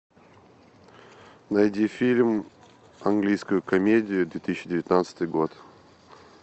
найди фильм английскую комедию две тысячи девятнадцатый год